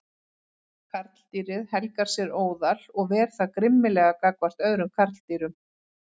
Karldýrið helgar sér óðal og ver það grimmilega gagnvart öðrum karldýrum.